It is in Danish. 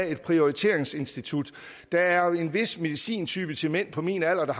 et prioriteringsinstitut der er en vis medicintype til mænd på min alder med